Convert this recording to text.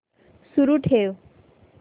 सुरू ठेव